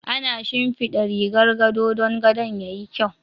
Ana shinfiɗa rigar gado dan gadon yayi kyau.